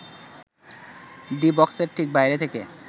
D বক্সের ঠিক বাইরে থেকে